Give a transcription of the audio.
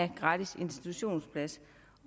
en gratis institutionsplads